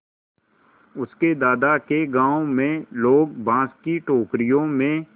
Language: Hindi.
उसके दादा के गाँव में लोग बाँस की टोकरियों में